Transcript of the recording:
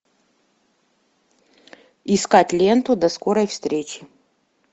искать ленту до скорой встречи